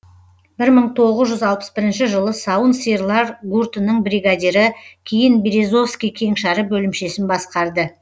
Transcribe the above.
бір мың тоғыз жүз алпыс бірінші жылы сауын сиырлар гуртының бригадирі кейін березовский кеңшары бөлімшесін басқарды